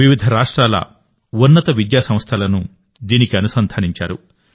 వివిధ రాష్ట్రాల ఉన్నత విద్యాసంస్థలను దీనికి అనుసంధానించారు